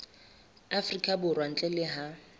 afrika borwa ntle le ha